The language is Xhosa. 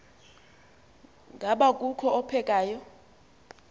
ngaba kukho ophekayo